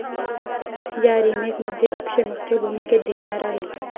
या रिमेकमध्ये अक्षय मुख्य भूमिकेत दिसणार आहे.